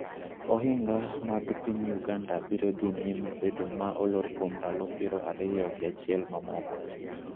Ohinga mag piny Uganda biro dhi nyime bedo ma olor kuom ndalo piero ariyo gi achiel mamoko,